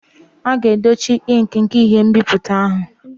A ga-edochi ink nke ihe nbipute ahụ.